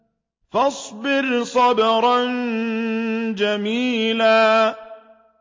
فَاصْبِرْ صَبْرًا جَمِيلًا